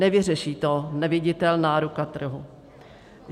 Nevyřeší to neviditelná ruka trhu.